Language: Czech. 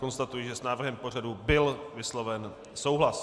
Konstatuji, že s návrhem pořadu byl vysloven souhlas.